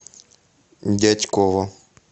дятьково